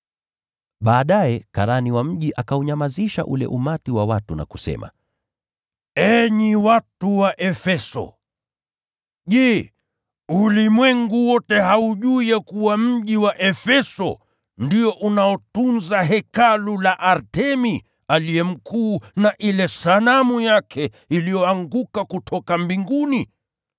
Baadaye karani wa mji akaunyamazisha ule umati wa watu na kusema, “Enyi watu wa Efeso, je, ulimwengu wote haujui ya kuwa mji wa Efeso ndio unaotunza hekalu la Artemi aliye mkuu na ile sanamu yake iliyoanguka kutoka mbinguni?